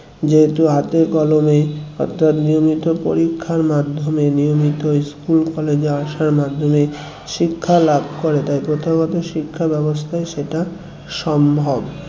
যেহেতু হাতের কলমে অর্থাৎ নিয়মিত পরীক্ষার মাধ্যমে নিয়মিত school college আসার মাধ্যমে শিক্ষা লাভ করে তাই প্রথাগত শিক্ষা ব্যবস্থায় সেটা সম্ভব